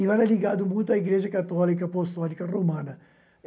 e eu era ligado muito à Igreja Católica Apostólica Romana.